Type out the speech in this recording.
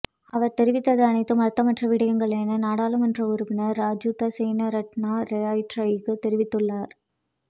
அவர் தெரிவித்தது அனைத்தும் அர்த்தமற்ற விடயங்கள் என நாடாளுமன்ற உறுப்பினர் ராஜித சேனாரட்ண ரொய்ட்டரிற்கு தெரிவித்துள்ளார்